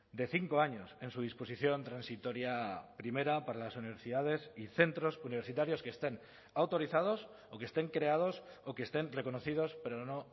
de cinco años en su disposición transitoria primera para las universidades y centros universitarios que estén autorizados o que estén creados o que estén reconocidos pero no